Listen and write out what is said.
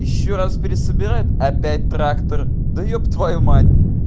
ещё раз пересобирать опять трактор да еб твою мать